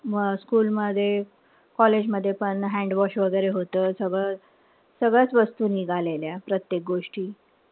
School मध्ये college मध्ये पण handwash वगैरे होत. सगळं सगळ्याच वस्तू निघाल्या. प्रत्येक गोष्टी.